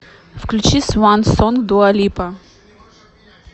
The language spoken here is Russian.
включи сван сонг дуа липа